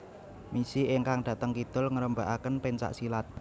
Misi ingkang dhateng kidul ngrembakaken pencak silat